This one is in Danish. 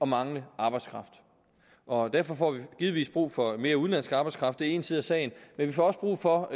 mangle arbejdskraft og derfor får vi givetvis brug for mere udenlandsk arbejdskraft én side af sagen men vi får også brug for